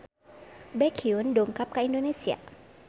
Baekhyun dongkap ka Indonesia